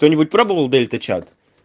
кто-нибудь пробовал дельта чат